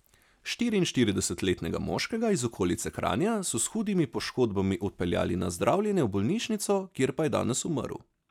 Štiriinštiridesetletnega moškega iz okolice Kranja so s hudimi poškodbami odpeljali na zdravljenje v bolnišnico, kjer pa je danes umrl.